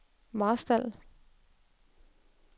Marstal